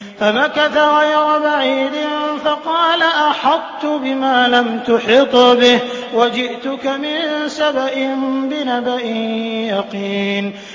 فَمَكَثَ غَيْرَ بَعِيدٍ فَقَالَ أَحَطتُ بِمَا لَمْ تُحِطْ بِهِ وَجِئْتُكَ مِن سَبَإٍ بِنَبَإٍ يَقِينٍ